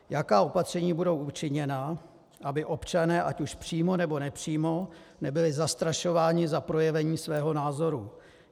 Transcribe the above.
Jaká opatření budou učiněna, aby občané ať už přímo, nebo nepřímo nebyli zastrašováni za projevení svého názoru?